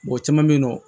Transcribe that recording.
Mɔgɔ caman bɛ yen nɔ